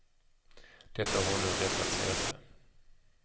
Detta har hon nu rättat sig efter.